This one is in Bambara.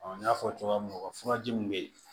n y'a fɔ cogoya min na u ka furaji min bɛ yen